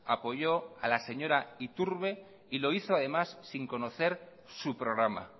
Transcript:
apoyó a la señora iturbe y lo hizo además sin conocer su programa